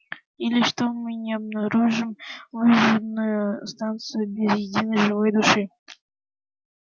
или что мы не обнаружим выжженную станцию без единой живой души